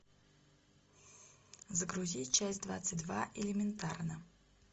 загрузи часть двадцать два элементарно